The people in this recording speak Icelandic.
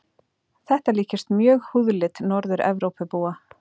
Þetta líkist mjög húðlit Norður-Evrópubúa.